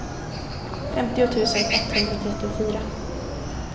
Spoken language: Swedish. femtio tusen etthundratrettiofyra